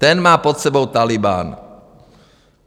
Ten má pod sebou Tálibán.